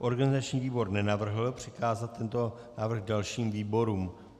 Organizační výbor nenavrhl přikázat tento návrh dalšímu výborům.